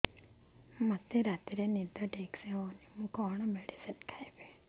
ମୋର ରାତିରେ ନିଦ ହଉନି କଣ କଣ ମେଡିସିନ ଖାଇବି